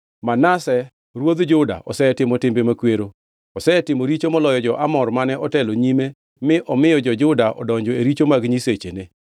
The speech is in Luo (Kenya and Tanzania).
“Manase ruodh Juda osetimo timbe makwero. Osetimo richo moloyo jo-Amor mane otelo nyime mi omiyo jo-Juda odonjo e richo mag nyisechene.